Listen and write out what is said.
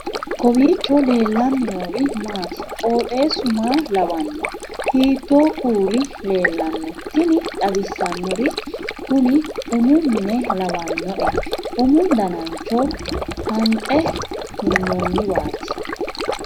kowiicho leellannori maati ? qooxeessu maa lawaanno ? hiitoo kuuli leellanno ? tini xawissannori kuni umu mine lawannoe umu danancho hanxe hunnanniwaati